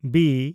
B